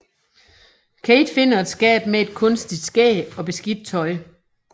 Kate finder et skab med et kunstigt skæg og beskidt tøj